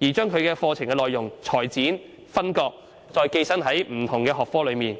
而將其課程內容裁剪、分割，再寄生於其他學科中。